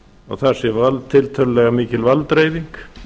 og þar sé tiltölulega mikil valddreifing